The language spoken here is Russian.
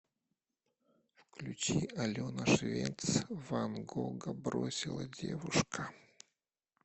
включи алена швец ван гога бросила девушка